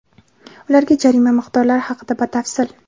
Ularga jarima miqdorlari haqida batafsil.